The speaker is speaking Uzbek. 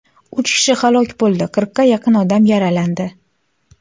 Uch kishi halok bo‘ldi, qirqqa yaqin odam yaralandi.